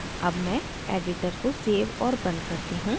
अब मैं editor को सेव और बंद करती हूँ